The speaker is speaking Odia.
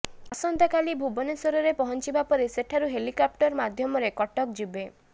ଆସନ୍ତାକାଲି ଭୁବନେଶ୍ୱରରେ ପହଞ୍ଚିବାପରେ ସେଠାରୁ ହେଲିକପ୍ଟର ମାଧ୍ୟମରେ କଟକ ଯିବେ